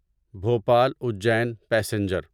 Bhopal Ujjain passenger